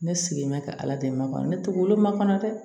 Ne sigi bɛ ka ala deli ma kɔnɔ ne tɛ wolo ma kɔnɔ dɛ